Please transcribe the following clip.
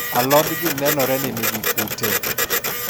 alod gi nenore ni nigi kute